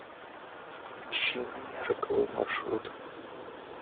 включи мне роковой маршрут